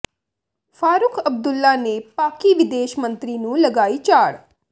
ਫਾਰੂਕ ਅਬਦੁੱਲਾ ਨੇ ਪਾਕਿ ਵਿਦੇਸ਼ ਮੰਤਰੀ ਨੂੰ ਲਗਾਈ ਝਾੜ